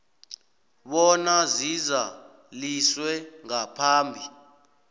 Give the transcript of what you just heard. bona zizaliswe ngaphambi